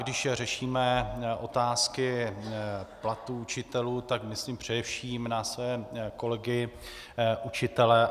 Když řešíme otázky platů učitelů, tak myslím především na své kolegy učitele.